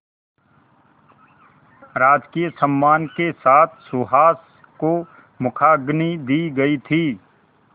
राजकीय सम्मान के साथ सुहास को मुखाग्नि दी गई थी